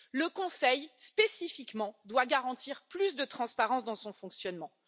Le Conseil, spécifiquement, doit garantir plus de transparence dans son fonctionnement.